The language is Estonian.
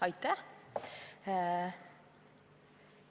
Aitäh!